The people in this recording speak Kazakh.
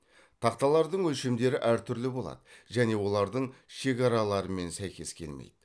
тақталардың өлшемдері әртүрлі болады және олардың шекараларымен сәйкес келмейді